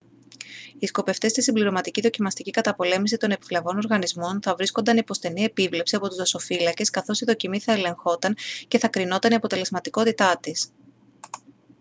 οι σκοπευτές στη συμπληρωματική δοκιμαστική καταπολέμηση των επιβλαβών οργανισμών θα βρίσκονταν υπό στενή επίβλεψη από τους δασοφύλακες καθώς η δοκιμή θα ελεγχόταν και θα κρινόταν η αποτελεσματικότητά της